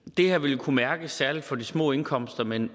det her vil kunne mærkes særlig for de små indkomster men